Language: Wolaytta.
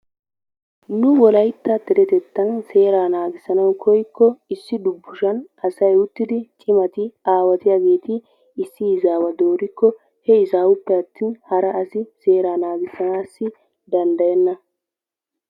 Nu wolaytta deretettatan seeraa naagissanawu koykko issi dubbushan asay uttidi aawatiyageeti issi izaawa dooriikko he izawuppe atin hara asi seeraa naagissanaassi danddayenna.